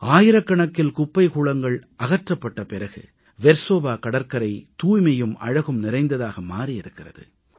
ஆயிரக்கணக்கில் குப்பை கூளங்கள் அகற்றப்பட்ட பிறகு வெர்சோவா கடற்கரை தூய்மையும் அழகும் நிறைந்ததாக மாறியிருக்கிறது